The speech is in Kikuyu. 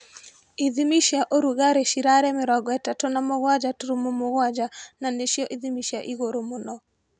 Ithimi cia ũrugarĩ cirarĩ mĩrongo ĩtatũ na mũgwaja turumo mũgwaja na nicĩo ithimi cia igurũ mũno